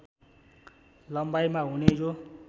लम्बाइमा हुने यो